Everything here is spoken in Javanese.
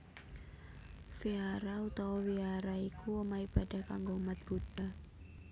Vihara utawa Wihara iku omah ibadah kanggo umat Buddha